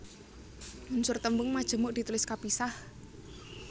Unsur tembung majemuk ditulis kapisah